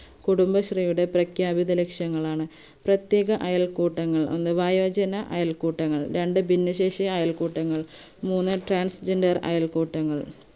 കുടുംബശ്രീയുടെ പ്രഖ്യാപിത ലക്ഷ്യങ്ങളാണ് പ്രത്യേക അയൽക്കൂട്ടങ്ങൾ ഒന്ന് വയോജന അയൽക്കൂട്ടങ്ങൾ രണ്ട് ഭിന്നശേഷി അയൽക്കൂട്ടങ്ങൾ മൂന്ന് transgender അയൽക്കൂട്ടങ്ങൾ